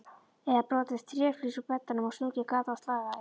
Eða brotið tréflís úr beddanum og stungið gat á slagæð?